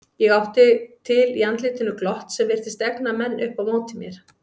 Ég átti til í andlitinu glott sem virtist egna menn upp á móti mér.